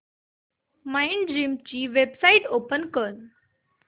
Mindgym ची website open कर